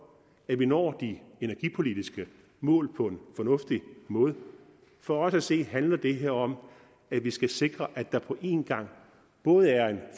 at vi når de energipolitiske mål på en fornuftig måde for os at se handler det her om at vi skal sikre at der både er en